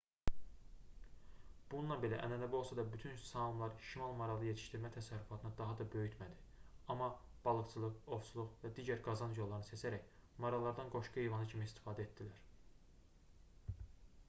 bununla belə ənənəvi olsa da bütün saamlar şimal maralı yetişdirmə təsərrüfatını daha da böyütmədi amma balıqçılıq ovçuluq və digər qazanc yollarını seçərək marallardan qoşqu heyvanı kimi istifadə etdilər